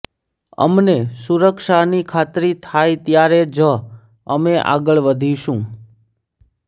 અમને સુરક્ષાની ખાતરી થાય ત્યારે જ અમે આગળ વધીશું